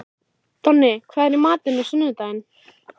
Donni, hvað er í matinn á sunnudaginn?